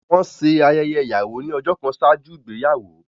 Wọ́n ṣe ayẹyẹ ìyàwó ní ọjọ́ kan ṣáájú ìgbéyàwó